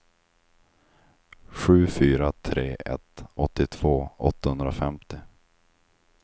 sju fyra tre ett åttiotvå åttahundrafemtio